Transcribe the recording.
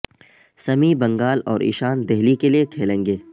سمیع بنگال اور ایشانت دہلی کے لیے کھیلیں گے